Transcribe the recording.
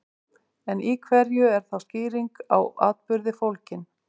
En í hverju er þá skýring á atburði fólgin?